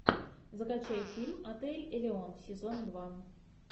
закачай фильм отель элеон сезон два